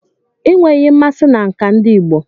Ị nweghị mmasị na nka ndi igbo?